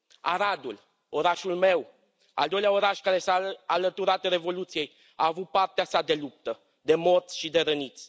Aradul, orașul meu, al doilea oraș care s a alăturat Revoluției, a avut partea sa de luptă, de morți și de răniți.